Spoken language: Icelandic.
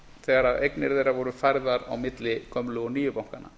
þegar eignir þeirra voru færðar á milli gömlu og nýju bankanna